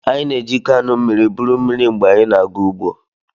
Anyị na-eji kaanụ mmiri buru mmiri mgbe anyị na-aga ugbo.